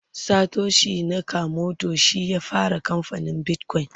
Satoshi nakamoto shi ya fara kamfanin bitcoin